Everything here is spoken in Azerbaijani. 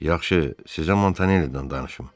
Yaxşı, sizə Montanelli'dən danışım.